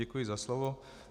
Děkuji za slovo.